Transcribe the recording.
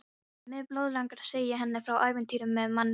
En mig blóðlangar að segja henni frá ævintýrinu með manninum.